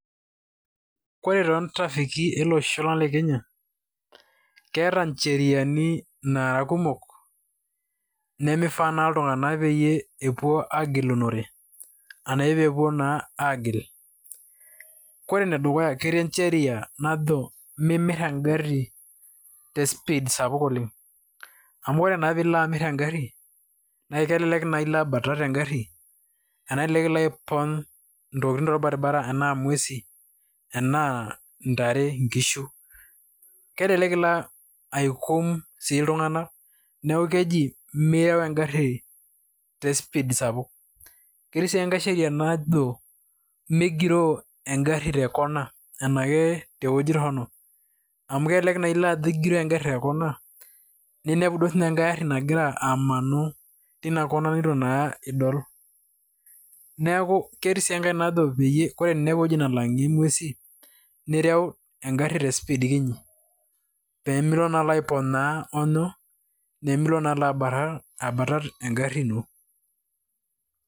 Ore toontraffiki eloosho lang le Kenya keeta ncheriani naara kumok nemifaa naa iltung'anak pee epuo aagilunore arashu pee epuo naa aagil, ore enedukuya ketii sheria najo mimirr engarri te speed sapuk oleng' amu ore naa tenilo amirr engarri naa elelek naa ilo abatat engarr ashu elelek ilo aipony' intokitin torbaribara ashu ena nguesin enaa ntare enaa nkishu, kelelek ilo aikum sii iltung'anak neeku keji mireu engarri te speed sapuk. Ketii sii enkae sheria najao migiroo engarri te corner arashu te weuji torrono amu kelelek naa ijo agiroo engarri te corner ninepu duo sinye enkae arri nagira amanu tin corner nituu naa idol, neeku ketii sii enkae najo ore pee inepu ewueji nalang'ie nguesin nireu engarri te speed kinyi pee milo naa aiponyaa hoonyoo, nemilo naa alo abatat engarri ino.